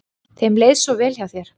Þeim leið svo vel hjá þér.